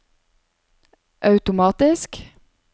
automatisk